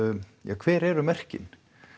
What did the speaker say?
hver eru merkin